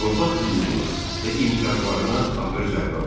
Torpaq hüququna və imtiyazlarına ağır zərbə vurdu.